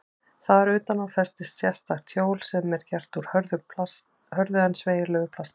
Þar utan á festist sérstakt hjól sem gert er úr hörðu en sveigjanlegu plasti.